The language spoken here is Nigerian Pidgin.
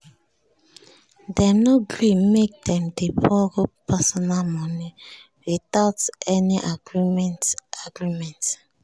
dem no gree make dem dey borrow personal money without any agreement agreement